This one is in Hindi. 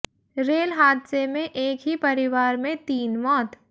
रेल हादसे में एक ही परिवार में तीन मौत